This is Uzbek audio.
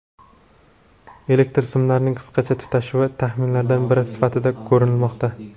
Elektr simlarining qisqa tutashuvi taxminlardan biri sifatida ko‘rilmoqda.